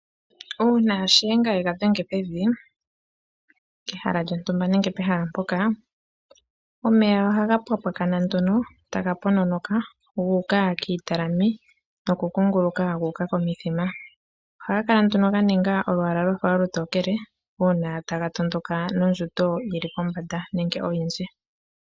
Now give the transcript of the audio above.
Uuna shiyenga yenga dhenge pevi pehala lyontumba nenge pehala mpoka, omeya ohaga pwapwakana nduno, taga pononoka gu uka kiitalame, nokukunguluka gu uka komithima. Ohaga kala nduno ga ninga olwaala lwafa olutokele, uuna taga tondoka nondjundo yili pombanda, nenge oyindji.